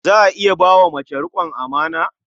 Za a iya bai wa mace riƙon amana?